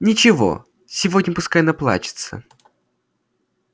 ничего сегодня пускай наплачется